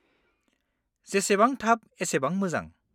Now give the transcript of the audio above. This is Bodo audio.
-जेसेबां थाब एसेबां मोजां।